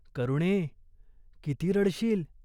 "करुणे, किती रडशील !